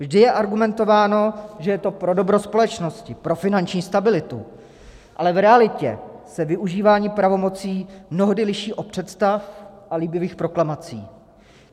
Vždy je argumentováno, že je to pro dobro společnosti, pro finanční stabilitu, ale v realitě se využívání pravomocí mnohdy liší od představ a líbivých proklamací.